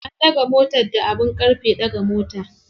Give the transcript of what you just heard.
An ɗaga motar da abin ƙarfe ɗaga mota.